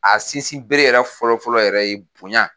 A sinsin bere yɛrɛ fɔlɔfɔlɔ yɛrɛ ye bonya